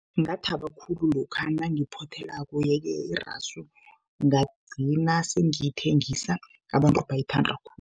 Ngathaba khulu lokha nangiphothelako, ye-ke irasu ngagcina sengiyithengisa, abantu bayithanda